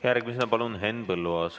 Järgmisena palun Henn Põlluaas.